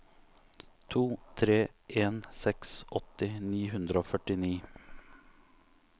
to tre en seks åtti ni hundre og førtini